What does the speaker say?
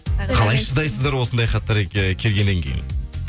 қалай шыдайсыздар осындай хаттар келгеннен кейін